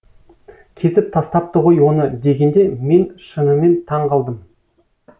кесіп тастапты ғой оны дегенде мен шынымен таң қалдым